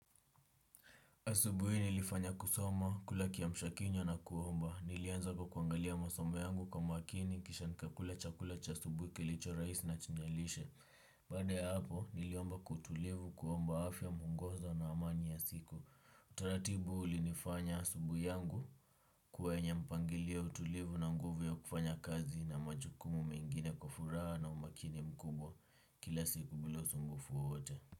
Asubuhi hii nilifanya kusoma, kula kiamshakinywa na kuomba. Nilianza kwa kuangalia masomo yangu kwa makini, kisha nikakula chakula cha asubuhi kilicho rahisi na chenye lishe. Baada ya hapo, niliomba wa utulivu, kuomba afya mwongozo na amani ya siku. Utaratibu ulinifanya asubuhi yangu kwa yenye mpangilio utulivu na nguvu ya kufanya kazi na majukumu mengine kwa furaha na umakini mkubwa kila siku bila usumbufu wowote.